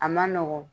A ma nɔgɔn